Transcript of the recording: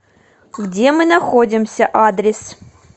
где мы находимся адрес